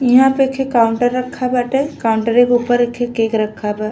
इहाँ पर खे काउंटर रखा बाटे काउंटरे के ऊपरे खे केक रखा बा--